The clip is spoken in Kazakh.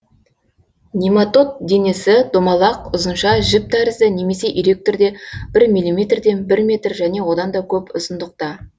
нематод денесі домалақ ұзынша жіп тәрізді немесе ирек түрде бір миллиметрден бір метр және одан да көп ұзындықта